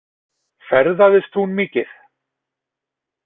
Ferðaðist hún mikið?